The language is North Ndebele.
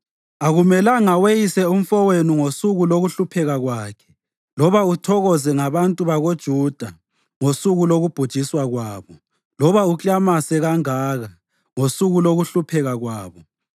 Akumelanga weyise umfowenu ngosuku lokuhlupheka kwakhe, loba uthokoze ngabantu bakoJuda ngosuku lokubhujiswa kwabo, loba uklamase kangaka ngosuku lokuhlupheka kwabo.